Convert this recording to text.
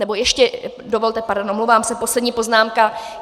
Nebo ještě dovolte, pardon, omlouvám se, poslední poznámka.